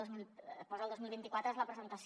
posa el dos mil vint quatre és la presentació